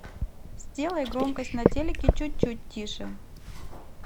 сделай громкость на телике чуть чуть тише